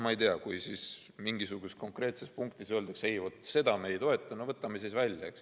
Kui mingisuguse konkreetse punkti kohta öeldakse, et seda me ei toeta, no võtame selle siis välja.